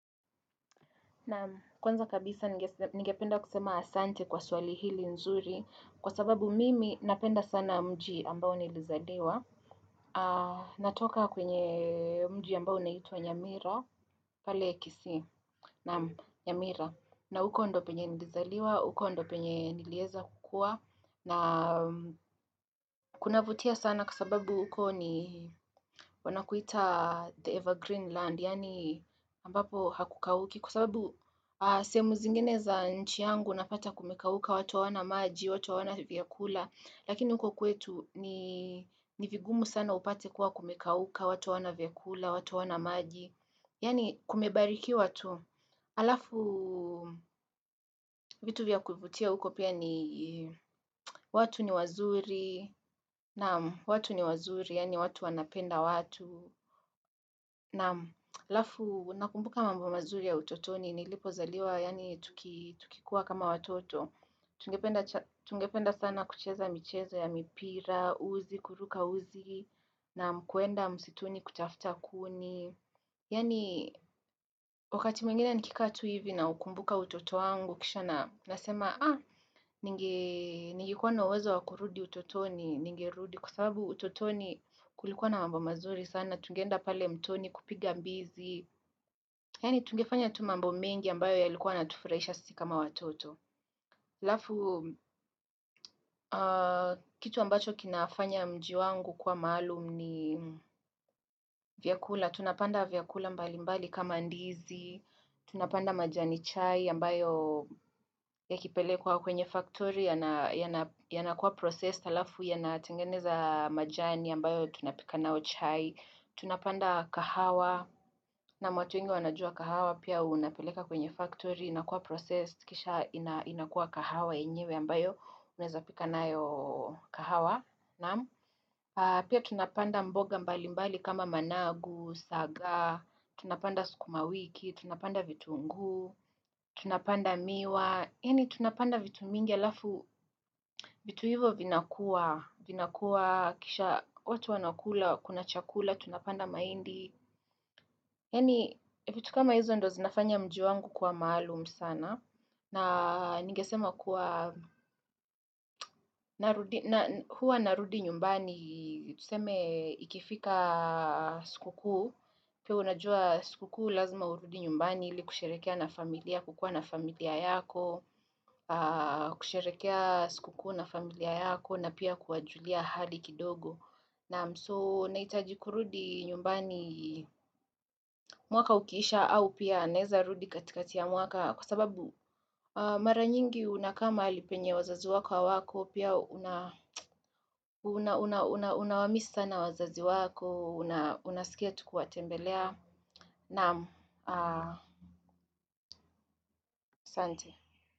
Na kwanza kabisa nigependa kusema asante kwa swali hili nzuri kwa sababu mimi napenda sana mji ambao nilizadiwa. Natoka kwenye mji ambao naitwa Nyamira, pale kisii, Nyamira. Na huko ndo penye nilizaliwa, huko ndo penye nilieza kukua. Na kunavutia sana kwa sababu huko ni wanakuita the evergreen land. Yaani ambapo hakukauki kusababu sehemu zingine za nchi yangu napata kumekauka watu wana maji, watu wana vyakula lakini unko kwetu ni vigumu sana upate kuwa kumekauka watu hawana vyakula, watu hawana maji yaani kumebariki watu alafu vitu vya kuvutia uko pia ni watu ni wazuri na watu ni wazuri yaani watu wanapenda watu na lafu nakumbuka mambo mazuri ya utotoni, nilipozaliwa, yani tukikuwa kama watoto. Tungependa sana kucheza michezo ya mipira, uzi, kuruka uzi, na kuenda msituni kutafuta kuni. Yaani, wakati mwingine nikikatu hivi na ukumbuka utoto angu, kisha na nasema, ah, ningikuwa na uwezo wakurudi utotoni, ningerudi. Kwa sababu utotoni kulikuwa na mbo mazuri sana, tungenda pale mtoni kupiga mbizi Yani tungefanya tu mambo mengi ambayo ya likuwa natufureisha sikama watoto Lafu, kitu ambacho kinafanya mjiwangu kwa maalum ni vyakula tunapanda vyakula mbali mbali kama ndizi Tunapanda majani chai ambayo ya kipele kwa kwenye factory yanakuwa process alafu yanatengeneza majani ambayo tunapika nao chai Tunapanda kahawa, na watu nge wanajua kahawa, pia unapeleka kwenye factory, inakuwa process, kisha inakuwa kahawa inyewe ambayo, uneza pika nayo kahawa. Pia tunapanda mboga mbali mbali kama managu, sagaa, tunapanda sukuma wiki, tunapanda vitunguu, tunapanda miwa. Yeni tunapanda vitu mingi alafu, vitu hivo vinakuwa, vina kuwa, kisha watu wanakula, kuna chakula, tunapanda maindi. Yeni vitu kama hizo ndo zinafanya mji wangu kwa maalum sana. Na nigesema kuwa, huwa narudi nyumbani, tuseme ikifika sikuku. Pia unajua siku kuu lazima urudi nyumbani ili kusherekea na familia, kukua na familia yako, kusherekea siku kuu na familia yako na pia kuajulia hali kidogo. Naam, so naitaji kurudi nyumbani mwaka ukiisha au pia naeza rudi katika tia mwaka Kwa sababu mara nyingi unakama alipenye wazazi wako hawako Pia unawamisi sana wazazi wako, unaskia tukua tembelea Naam, asante.